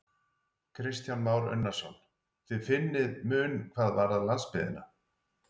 Kristján Már Unnarsson: Þið finnið mun hvað varðar landsbyggðina?